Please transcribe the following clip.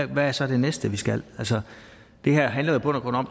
hvad er så det næste vi skal det her handler i bund og